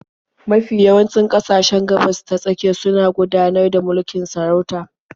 Mafi yawancin ƙasashen Gabas-ta-tsakiya suna gudanar da mulkin sarauta.